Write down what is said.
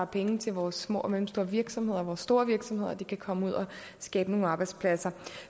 penge til vores små og mellemstore virksomheder og vores store virksomheder og de kan komme ud og skabe nogle arbejdspladser